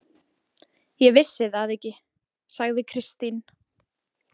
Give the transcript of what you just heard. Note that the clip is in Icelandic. Ég vissi það ekki, sagði Kristín.